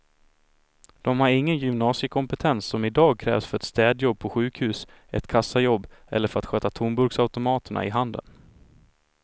De har ingen gymnasiekompetens som i dag krävs för ett städjobb på sjukhus, ett kassajobb eller för att sköta tomburksautomaterna i handeln.